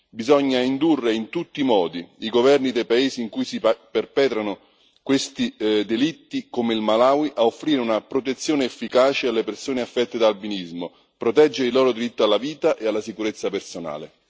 Bisogna indurre in tutti i modi i governi dei paesi in cui si perpetrano questi delitti, come il Malawi, a offrire una protezione efficace alle persone affette da albinismo, proteggere il loro diritto alla vita e alla sicurezza personale.